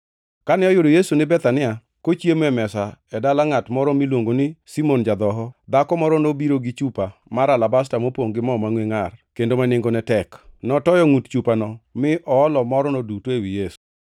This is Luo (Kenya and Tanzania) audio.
Kane oyudo Yesu ni Bethania, kochiemo e mesa e dala ngʼat moro miluongo ni Simon ja-dhoho, dhako moro nobiro gi chupa mar alabasta mopongʼ gi mo mangʼwe ngʼar kendo ma nengone tek. Notoyo ngʼut chupano mi oolo morno duto ewi Yesu.